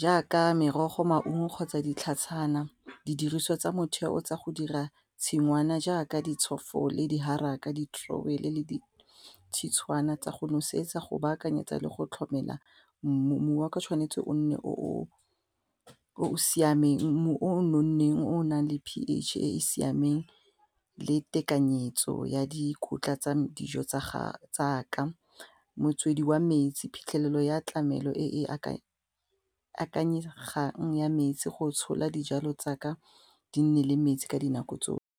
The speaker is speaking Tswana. jaaka merogo, maungo kgotsa ditlhatshwana didiriswa tsa motheo tsa go dira tshingwana jaaka ditshofo le diharaka, le ditshwana tsa go nosetsa go baakanyetsa le go tlhomela mmu, mmu wa ka tshwanetse o nne o o siameng o nonneng o nang le P_H e e siameng le tekanyetso ya dikotla tsa dijo tsaka, motswedi wa metsi phitlhelelo ya tlamelo e e akanyegang ya metsi go tshola dijalo tsaka di nne le metsi ka dinako tsotlhe.